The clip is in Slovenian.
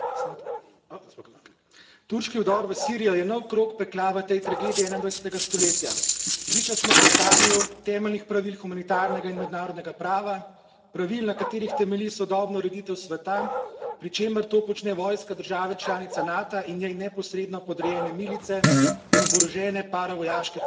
Gospa predsednica, turški vdor v Sirijo je nov krog pekla v tej tragediji 21. stoletja. Priča smo teptanju temeljnih pravil humanitarnega in mednarodnega prava, pravil, na katerih temelji sodobna ureditev sveta, pri čemer to počne vojska države članice Nata in njej neposredno podrejene milice in oborožene paravojaške formacije.